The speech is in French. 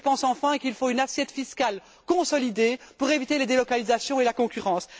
Je pense, enfin, qu'il faut une assiette fiscale consolidée pour éviter les délocalisations et la concurrence.